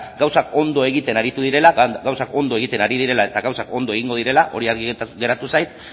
gauzak ondo egiten aritu direla gauzak ondo egiten ari direla eta gauzak ondo egingo direla hori argi geratu zait